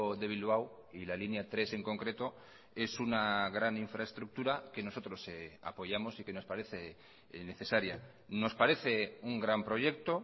de bilbao y la línea tres en concreto es una gran infraestructura que nosotros apoyamos y que nos parece necesaria nos parece un gran proyecto